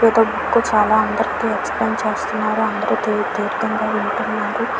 చాల అందరికి ఎక్స్ప్లెయిన్ చేస్తున్నారు అందరు దీర్ఘంగా వింటున్నారు .